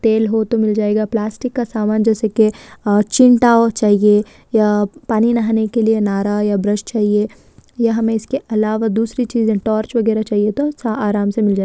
तेल हो तो मील जायेगा